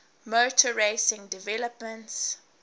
motor racing developments